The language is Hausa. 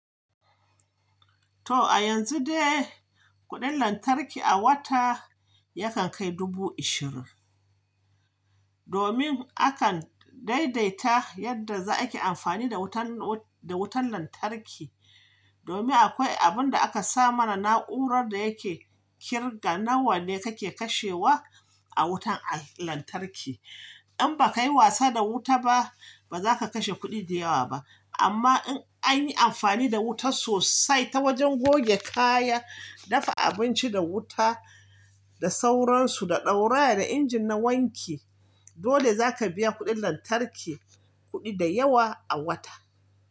To a yanzu dai kuɗin lantarki a wata yakan kai dubu ishirin. Domin akan daidaita yadda za, ake amfani da wutan lantarki, domin akwai abin da aka sa mana na'urar da yake kirga nawa ne kake kashewa a wutan lantarki. In ba ka yi wasa da wuta ba, ba za ka kashe kuɗi da yawa ba. Amma in an yi amfani da wuta sosai ta wajen goge kaya, dafa abinci da wuta, da sauransu, da ɗauraya da injin na wanki, dole zaka biya kuɗin lantarki kuɗi da yawa a wata.